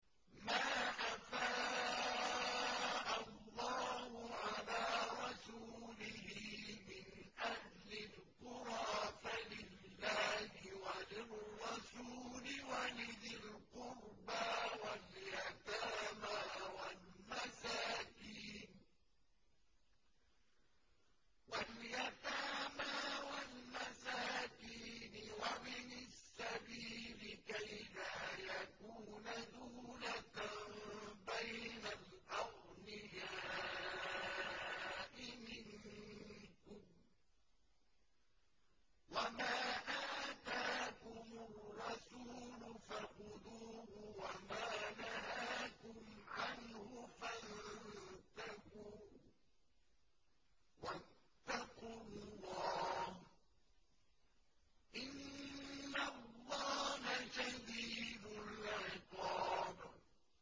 مَّا أَفَاءَ اللَّهُ عَلَىٰ رَسُولِهِ مِنْ أَهْلِ الْقُرَىٰ فَلِلَّهِ وَلِلرَّسُولِ وَلِذِي الْقُرْبَىٰ وَالْيَتَامَىٰ وَالْمَسَاكِينِ وَابْنِ السَّبِيلِ كَيْ لَا يَكُونَ دُولَةً بَيْنَ الْأَغْنِيَاءِ مِنكُمْ ۚ وَمَا آتَاكُمُ الرَّسُولُ فَخُذُوهُ وَمَا نَهَاكُمْ عَنْهُ فَانتَهُوا ۚ وَاتَّقُوا اللَّهَ ۖ إِنَّ اللَّهَ شَدِيدُ الْعِقَابِ